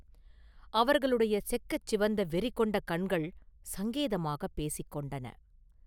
அவர்களுடைய செக்கச் சிவந்த வெறி கொண்ட கண்கள் சங்கேதமாகப் பேசிக் கொண்டன.